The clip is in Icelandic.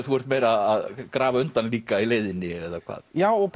þú ert meira að grafa undan líka í leiðinni eða hvað já og